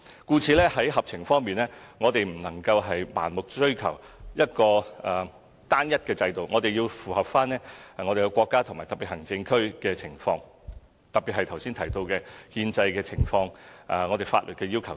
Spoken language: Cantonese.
故此，在合情方面，我們不能盲目追求一個單一制度，而是要符合國家和特別行政區的情況，特別是剛才提到的憲制情況和法律要求等。